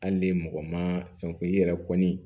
Hali ni mɔgɔ ma fɛn k'u i yɛrɛ kɔni